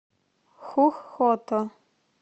хух хото